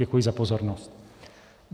Děkuji za pozornost.